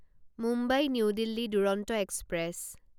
Mumbai new Delhi Duronto express